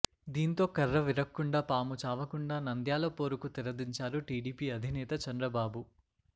దీంతో కర్రవిరక్కుండా పాము చావకుండా నంద్యాల పోరుకు తెరదించారు టీడీపీ అధినేత చంద్రబాబు